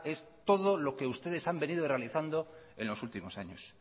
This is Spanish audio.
es todo lo que ustedes han venido realizando en los últimos años